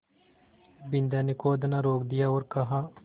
बिन्दा ने खोदना रोक दिया और कहा